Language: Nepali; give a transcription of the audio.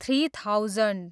three thousand